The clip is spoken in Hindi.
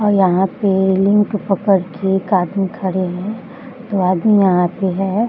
और यहाँ पे रेलिंग को पकड़ के एक आदमी खड़े हैं वो आदमी यहाँ पे है।